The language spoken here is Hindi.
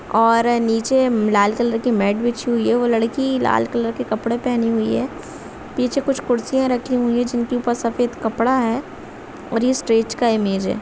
और नीचे लाल कलर की मैट बिछी हुई है वो लड़की लाल कलर के कपड़े पहनी हुई है पीछे कुछ कुर्सियां रखी हुई है जिनकी ऊपर सफेद कपड़ा है और ये स्टेज का इमेज है ।